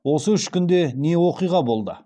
осы үш күнде не оқиға болды